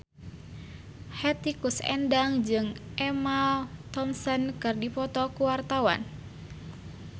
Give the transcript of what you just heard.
Hetty Koes Endang jeung Emma Thompson keur dipoto ku wartawan